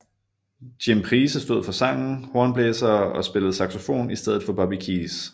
Jim Price stod for sangen hornblæsere og spillede saxofon i stedet for Bobby Keys